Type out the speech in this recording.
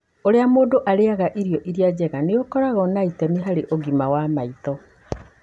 Ũrĩa mũndũ arĩaga irio iria njega nĩ ũkoragwo na itemi harĩ ũgima wa maitho.